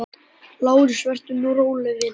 LÁRUS: Vertu nú róleg, vina.